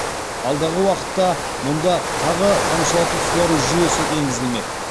алдағы уақытта мұнда тағы тамшылату суару жүйесі еңгізілмек